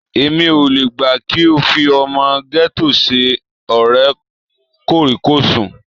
Èmi ò le gbà kí o fi ọmọ gẹ́tò ṣe ọ̀rẹ́ kòríkòsùn.